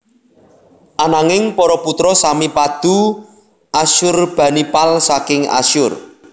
Ananging para putra sami padu Asyurbanipal saking Asyur